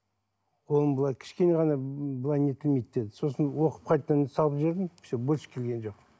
оны былай кішкене ғана былай нетілмейді деді сосын оқып қайтадан салып жібердім все больше келген жоқ